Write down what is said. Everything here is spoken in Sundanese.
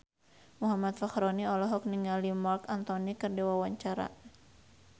Muhammad Fachroni olohok ningali Marc Anthony keur diwawancara